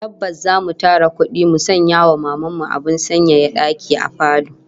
Tabbas zamu tara kudi mu sanya wa Maman mu abin sanyaya daki a falo